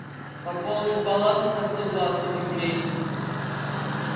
пополнить баланс на сто двадцать рублей